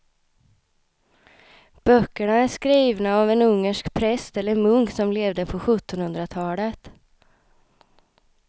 Böckerna är skrivna av en ungersk präst eller munk som levde på sjuttonhundratalet.